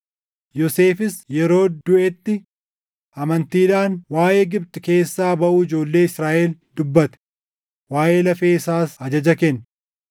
Yoosefis yeroo duʼetti amantiidhaan waaʼee Gibxi keessaa baʼuu ijoollee Israaʼel dubbate; waaʼee lafee isaas ajaja kenne.